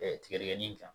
tigɛ tigɛ nin kan